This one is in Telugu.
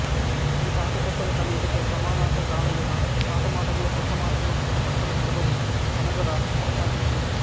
ఈ పాత కొత్తల కలయికతో సమానార్ధకాలయిన పాత మాటలు కొత్త మాటలు పక్క పక్కన నిలబడి మనుగడ కొనసాగించేయి